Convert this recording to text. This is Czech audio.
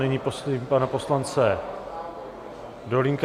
Nyní prosím pana poslance Dolínka.